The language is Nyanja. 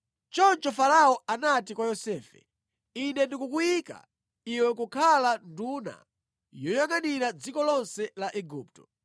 Choncho Farao anati kwa Yosefe, “Ine ndikukuyika iwe kukhala nduna yoyangʼanira dziko lonse la Igupto.”